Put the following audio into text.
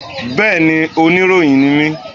Bẹ́ẹ̀ni, oníròyìn ni mí